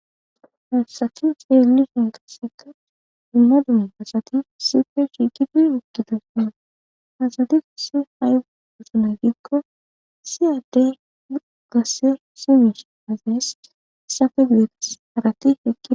Hassaki seelishen gaseka dumma dumma asati sife shigitu ukkidosa asadi s hay usunay dikko siyaddey gasse simish azayes safe gudetas harati heqi.